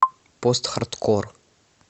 постхардкор